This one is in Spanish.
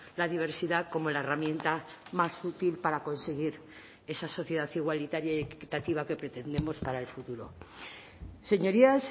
la diversidad como la herramienta más útil para conseguir esa sociedad igualitaria y equitativa que pretendemos para el futuro señorías